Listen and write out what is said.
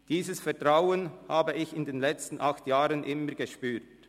Dieses Vertrauen habe ich in den letzten acht Jahren immer gespürt.